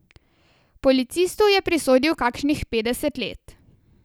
Policistu je prisodil kakšnih petdeset let.